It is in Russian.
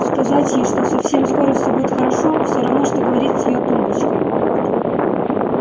сказать ей что совсем скоро все будет хорошо все равно что говорить с её тумбочкой